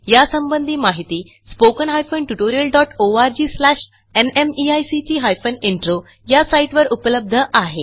यासंबंधी माहिती spoken hyphen tutorial dot O R G slash NMEICT hyphen intro या साईटवर उपलब्ध आहे